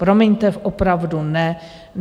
Promiňte, opravdu ne.